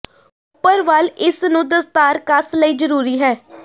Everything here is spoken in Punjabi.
ਉਪਰ ਵੱਲ ਇਸ ਨੂੰ ਦਸਤਾਰ ਕਸ ਲਈ ਜ਼ਰੂਰੀ ਹੈ